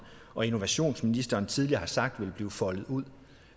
og innovationsministeren tidligere har sagt vil blive foldet ud